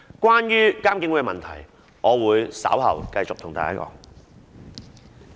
關於監警會的議題，我稍後會繼續討論。